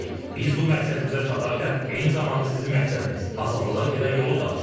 Biz bu məqsədimizə çatarkən eyni zamanda sizin məqsədiniz - azadlığa gedən yolu da açırıq.